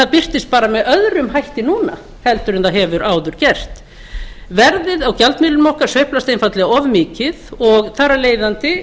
birtist bara með öðrum hætti núna heldur en það hefur áður gert verðið á gjaldmiðlinum okkar sveiflast einfaldlega of mikið og þar af leiðandi